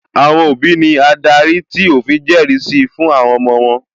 Àwọn òbí ní adarí tí òfin jẹrìí sí fún àwọn ọmọ wọ́n